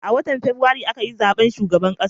A watan fabrairu a ka yi zaben shugaban ƙasa